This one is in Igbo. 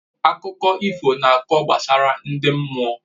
Akụkọ ifo na akọ akụkọ gbasara ndị mmụọ